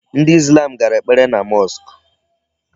Ndị Islam gara ekpere na mosque.